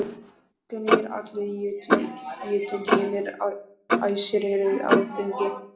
Gnýr allur Jötunheimur, æsir eru á þingi.